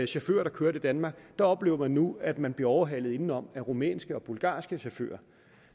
chauffører der kørte i danmark oplever man nu at man bliver overhalet indenom af rumænske og bulgarske chauffører